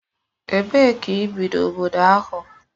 Ebee ka ị bi n'obodo ahụ?